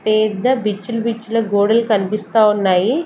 పెద్ద బిచ్చులు బిచ్చుల గోడలు కనిపిస్తా ఉన్నాయి.